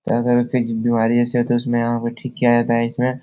क्या करें कुछ बीमारी ऐसी होती है उसमें यहाँ पे ठीक किया जाता है। इसमें --